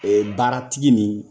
Ee baaratigi nin